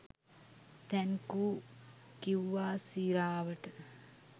thank you කිව්වා සිරාවට